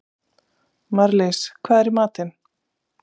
Marlís, hvað er í matinn?